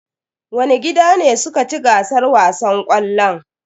Wani gida ne suka ci gasar wasan ƙwallon?